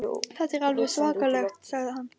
Þetta er alveg svakalegt sagði hann.